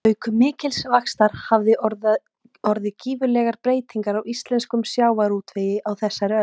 Auk mikils vaxtar hafa orðið gífurlegar breytingar í íslenskum sjávarútvegi á þessari öld.